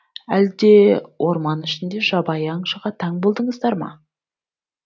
әлде орман ішінде жабайы аңшыға таң болдыңыздар ма